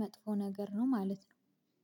መጥፎ ነገር ነው ማለት ነው።